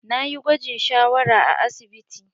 Na yi gwajin shawara a asibiti.